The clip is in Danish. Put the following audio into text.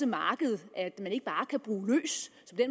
markedet at